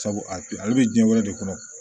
Sabu a ale bɛ diɲɛ wɛrɛ de kɔnɔ